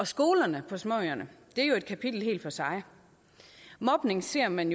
skolerne på småøerne er jo et kapitel helt for sig mobning ser man